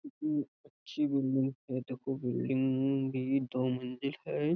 कितनी अच्छी बिल्डिंग है। देखो बिल्डिंग भी दो मंजिल है।